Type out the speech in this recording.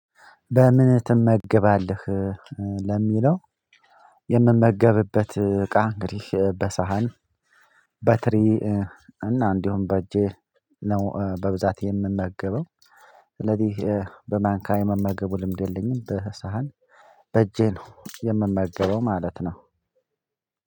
በምን ትመገባለህ? ለሚለው የምመገብበት እቃ እንግዲህ በሳህን በትሪ እና እንዲሁም በእጄ ነው በብዛት የምመገበው። ስለዚህ በማንካዬ መመገቡ ልምድ የለኝም። በሳህን በእጄ ነው የምመገበው ማለት ነው።